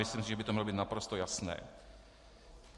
Myslím si, že by to mělo být naprosto jasné.